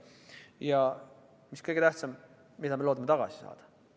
Ja mis kõige tähtsam, me loodame selle tagasi saada.